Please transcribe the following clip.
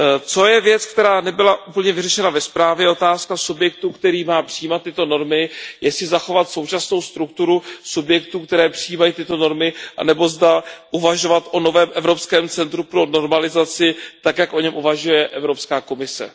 Co je věc, která nebyla úplně vyřešena ve zprávě, je otázka subjektu, který má přijímat tyto normy, jestli zachovat současnou strukturu subjektů, které přijímají tyto normy, anebo zda uvažovat o novém evropském centru pro normalizaci tak, jak o něm uvažuje Evropská komise.